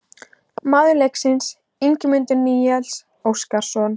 Maður leiksins: Ingimundur Níels Óskarsson